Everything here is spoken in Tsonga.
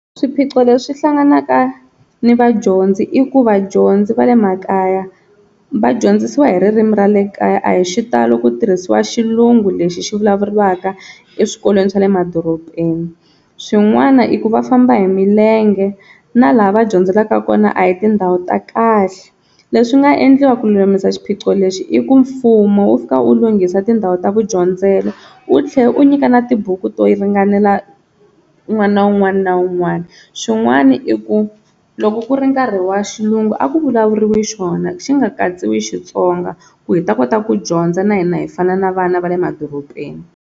Swiphiqo leswi hlanganaka ni vadyondzi i ku vadyondzi va le makaya va dyondzisiwa hi ririmi ra le kaya a hi xitalo ku tirhisiwa xilungu lexi xi vulavuriwaka eswikolweni swa le madorobeni, swin'wana i ku va famba hi milenge na laha va dyondzelaka kona a hi tindhawu ta kahle leswi nga endliwa ku lulamisa xiphiqo lexi i ku mfumo wu fika wu lunghisa tindhawu ta ku dyondzela, wu tlhela u nyika na tibuku to ringanela n'wana un'wana na un'wana xin'wana i ku loko ku ri nkarhi wa xilungu a ku vulavuriwi xona xi nga katsiwi Xitsonga ku hi ta kota ku dyondza na hina hi fana na vana va le madorobeni.